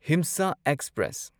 ꯍꯤꯝꯁꯥ express